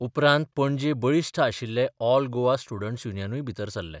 उपरांत पणजे बळिश्ठ आशिल्ले ऑल गोवा स्टुडंट्स युनियनूय भितर सरले.